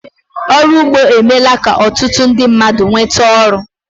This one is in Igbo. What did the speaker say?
Ọrụ ugbo emeela ka ọtụtụ ndị mmadụ nweta oru